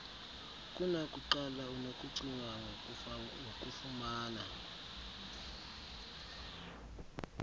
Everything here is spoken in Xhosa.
kunakuqala unokucinga ngokufumana